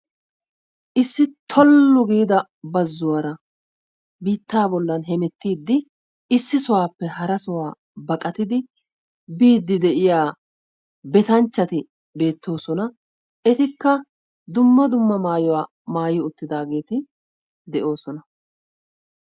issi tollu giida bazzuwaara biitaa bollan hemettIIDI ISSI SOHUWAPPE HARA SOHUWA BIIDI DIYA BETANCHCHATI BEETOOSONA. ETIKKA dumma dumma MAAYUWA MAAYI UTTIDAGEETI DE'OOSONA.